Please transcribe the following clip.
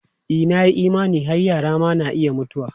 E, na yi imani har yara ma na iya mutuwa.